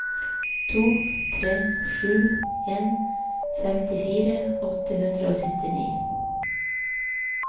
to tre sju en femtifire åtte hundre og syttini